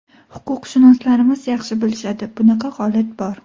Huquqshunoslarimiz yaxshi bilishadi, bunaqa holat bor.